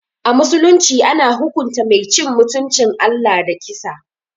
A musulunci, ana hukunta Mai cin mutuncin Allah da kisa.